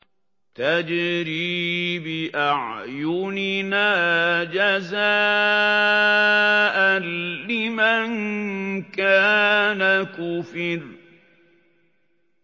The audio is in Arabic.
تَجْرِي بِأَعْيُنِنَا جَزَاءً لِّمَن كَانَ كُفِرَ